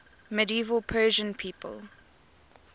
medieval persian people